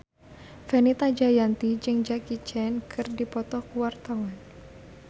Fenita Jayanti jeung Jackie Chan keur dipoto ku wartawan